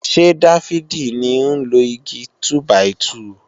Ṣé Dáfídì ní ń lo Igi túbàìtuù